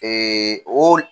o